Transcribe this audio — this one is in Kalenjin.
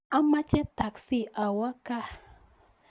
Amache taksii awe gaa